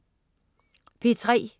P3: